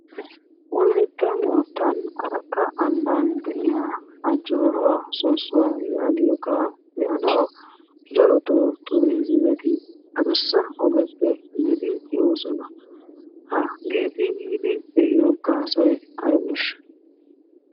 Wolaytta mootan arakka amban de'iya ajoora sosuwa yaagiyoga be'anawu darotoo tuuriizimeti adussa ogeppe yiidi be'oososna. hageeti yiidi be'iyo gaasoy aybeesha?